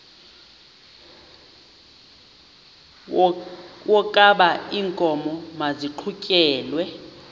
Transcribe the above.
wokaba iinkomo maziqhutyelwe